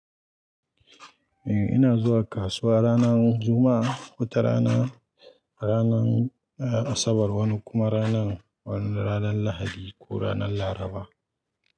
Eh ina zuwa kasuwa ranar Juma'a, wata rana ranar Asabar wani kuma ranar wani ranar Lahadi ko ranar Laraba.